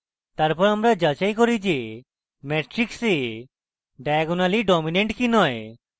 তারপর আমরা যাচাই করি যে matrix a diagonally dominant কি নয়